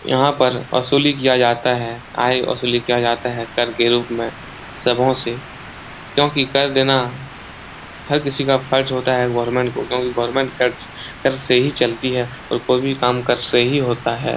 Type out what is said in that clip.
यहां पर असूली किया जाता है। आय असूली किया जाता है कर के रूप में सबहो से क्योंकि कर देना हर किसी का फर्ज होता है गवर्नमेंट को क्योंकि गवर्नमेंट कर्ज कर से ही चलती है और कोई भी काम कर से ही होता है।